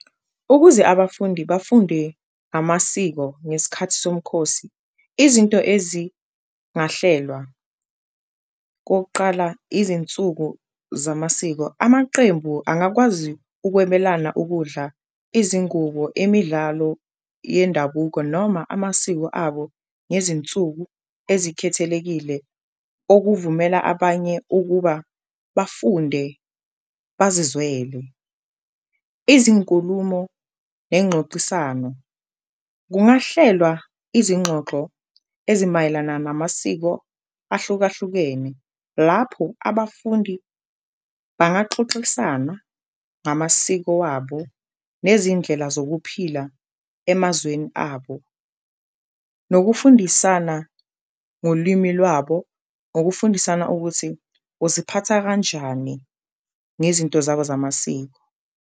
Ukuze abafundi bafunde amasiko ngeskhathi somkhosi izinto ezingahlelwa kokuqala izinsuku zamasiko, amaqembu angakwazi ukwebelana ukudla, izingubo, imidlalo yendabuko, noma amasiko abo ngezinsuku ezikhethekile okuvumela abanye ukuba bafunde bazizwele. Izinkulumo nengxoxisano, kungahlelwa izingxoxo ezimayelana namasiko ahlukahlukene lapho abafundi bangaxoxisana ngamasiko wabo nezindlela zokuphila emazweni abo. Nokufundisana ngolimi lwabo ngokufundisana ukuthi uziphatha kanjani ngezinto zabo zamasiko.